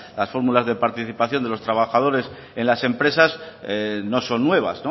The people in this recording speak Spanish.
las fórmulas de participación de los trabajadores en las empresas no son nuevas